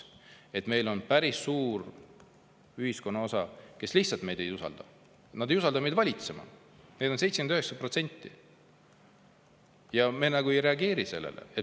Meil on päris suur osa ühiskonnast, kes lihtsalt ei usalda valitsust, neid on 79%, aga sellele ei reageerita.